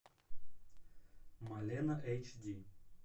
малена эйч ди